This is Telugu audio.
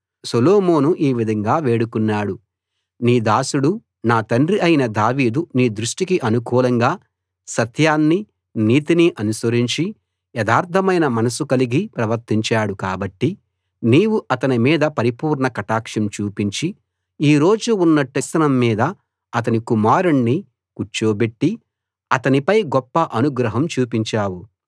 సొలొమోను ఈ విధంగా వేడుకున్నాడు నీ దాసుడు నా తండ్రి అయిన దావీదు నీ దృష్టికి అనుకూలంగా సత్యాన్ని నీతిని అనుసరించి యథార్థమైన మనసు కలిగి ప్రవర్తించాడు కాబట్టి నీవు అతని మీద పరిపూర్ణ కటాక్షం చూపించి ఈ రోజు ఉన్నట్టుగా అతని సింహాసనం మీద అతని కుమారుణ్ణి కూర్చోబెట్టి అతని పై గొప్ప అనుగ్రహం చూపించావు